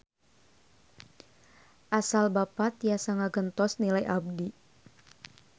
Asal Bapa tiasa ngagentos nilai abdi.